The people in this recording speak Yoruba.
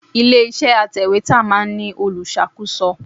Ilé iṣẹ́ atẹ̀wétà máa ń ní olùṣàkóso.